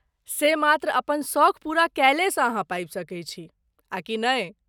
से मात्र अपन सौख पूरा केलेसँ अहाँ पाबि सकैत छी, आ कि नहि?